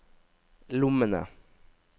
lommene